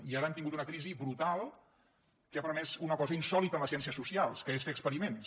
i ara hem tingut una crisi brutal que ha permès una cosa insòlita en les ciències socials que és fer experiments